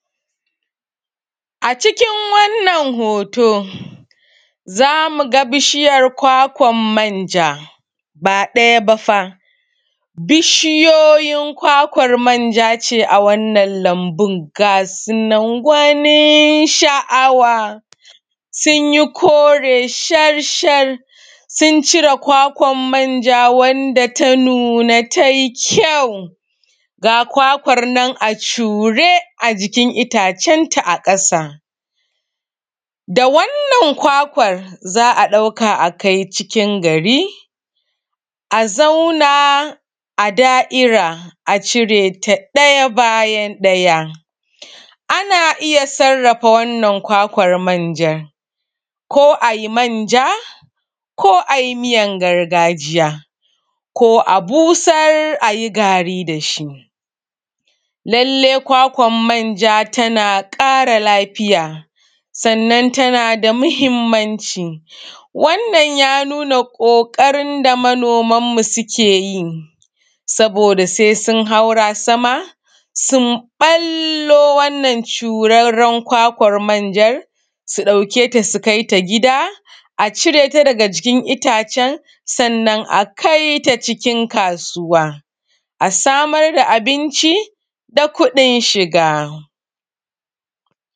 A cikin wannan hoto za mu ga bishiyar kwakwan manja ba ɗaya ba fa bishiyoyi kwakwar manja ne a cikin wannan lambu gwanin sha'awa sun yi kore sharshar sun cire kwakwar manja wanda ta nuna ta yi ƙyau ga kwakwan nan a cure a jiki itacenta a ƙasa da wannan kwakwar za a ɗauka a kai cikin gari a zauna a da'iri a cire ta ɗaya bayan ɗaya ana iya sarrafa wannan kwakwar manjan ko a yin manja ko a yi miyar gargajiya ko a busar a yi gari da shi. Lallai kwakwar manja tana ƙara lafiya kuma tana da muhimmanci Wannan ya nuna ƙoƙarin da manoman mu suke yi saboda sai sun haura sama sun ɓallo wannan curarren kwakwar manja sannan su ɗauke ta su kai ta gida a cire ta daga jikin itacen sannan a kai ta cikin kasuwa a samar da abinci da kudin shiga